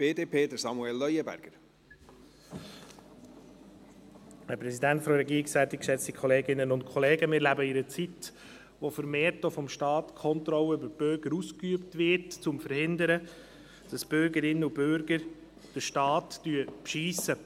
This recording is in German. Wir leben in einer Zeit, in der vermehrt die Kontrolle über die Bürger vom Staat ausgeübt wird, um zu verhindern, dass die Bürgerinnen und Bürger den Staat betrügen.